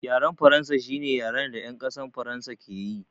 Yaren faransa shine yaren da yan ƙasar faransa ke yi